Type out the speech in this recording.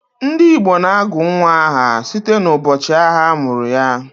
Ndị Igbo na-agụ nnwa aha site n'ụbọchị ahịa a mụrụ ya